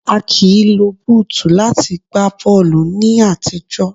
A kìí lo búùtù láti gba bọ́ọ̀lù ní àtijọ́.